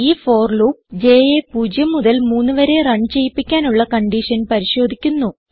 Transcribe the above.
ഈ for loop jയെ പൂജ്യം മുതൽ മൂന്ന് വരെ റൺ ചെയ്യിപ്പിക്കാനുള്ള കൺഡിഷൻ പരിശോധിക്കുന്നു